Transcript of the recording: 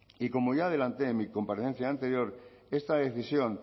y como ya adelante en mi comparecencia anterior esta decisión